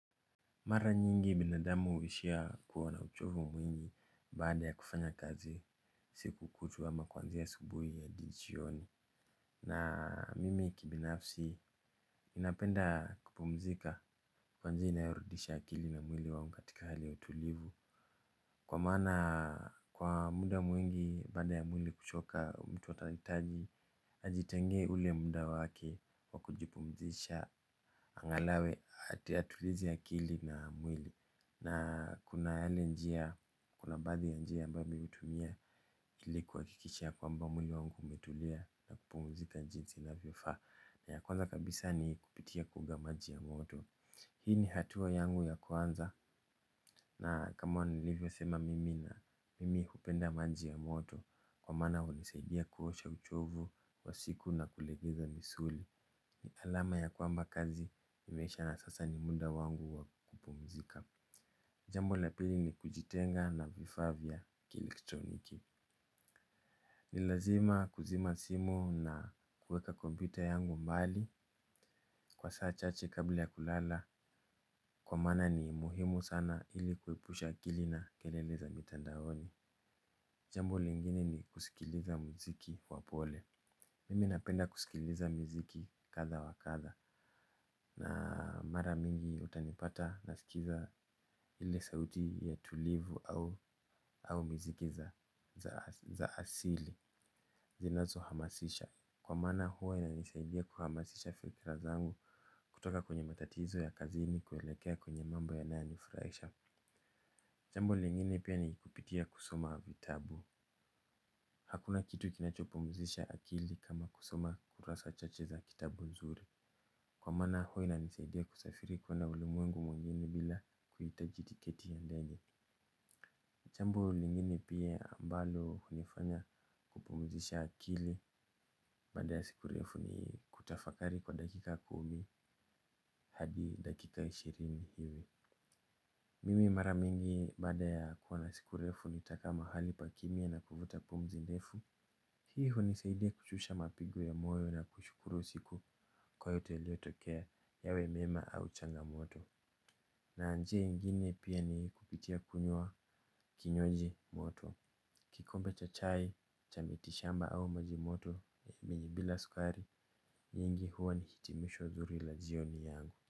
Mara nyingi binadamu huishia kuwa na uchovu mwingi baada ya kufanya kazi siku kutwa ama kuanzia asubuhi hadi jioni. Na mimi kibinafsi ninapenda kupumzika kwa njia inayorudisha akili na mwili wangu katika hali ya utulivu kwa maana kwa muda mwingi baada ya mwili kuchoka mtu atahitaji ajitengee ule muda wake wa kujipumzisha. Angalau atulize akili na mwili. Na kuna yale njia, kuna baadhi ya njia ambayo mimi hutumia ili kuhakikisha kwamba mwili wangu umetulia na kupumzika jinsi inavyofaa. Na ya kwanza kabisa ni kupitia kuoga maji ya moto. Hii ni hatua yangu ya kwanza. Na kama nilivyosema, mimi hupenda maji ya moto kwa maana hunisaidia kuosha uchovu wa siku na kulegeza misuli. Ni alama ya kwamba kazi imeisha na sasa ni muda wangu wa kupumzika. Jambo la pili ni kujitenga na vifaa vya kielektroniki. Ni lazima kuzima simu na kuweka kompyuta yangu mbali kwa saa chache kabla ya kulala kwa maana ni muhimu sana ili kuepusha akili na kelele za mitandaoni. Jambo lingine ni kusikiliza muziki wa pole. Mimi napenda kusikiliza miziki kadha wa kadha. Na mara mingi utanipata nasikiza ile sauti ya tulivu au miziki za asili zinazohamasisha kwa maana huwa inanisaidia kuhamasisha fikira zangu kutoka kwenye matatizo ya kazini kuelekea kwenye mambo yanayonifurahisha. Jambo lingine pia ni kupitia kusoma vitabu. Hakuna kitu kinachopumzisha akili kama kusoma kurasa chache za kitabu nzuri kwa maana huwa inanisaidia kusafiri kuona ulimwengu mwingine bila kuhitaji tiketi ya ndege. Jambo lingine pia ambalo hunifanya kupumzisha akili. Baada ya siku refu ni kutafakari kwa dakika kumi hadi dakika ishirini hivi. Mimi mara mingi baada ya kuwa na siku refu nitakaa mahali pa kimya na kuvuta pumzi ndefu. Hii hunisaidia kushusha mapigo ya moyo na kushukuru usiku kwa yote yaliyotokea yawe mema au changamoto. Na njia ingine pia ni kupitia kunywa kinywaji moto. Kikombe cha chai, cha mitishamba au maji moto bila sukari nyingi huwa ni hitimisho zuri la jioni yangu.